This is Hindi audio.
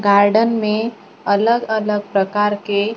गार्डन में अलग-अलग प्रकार के --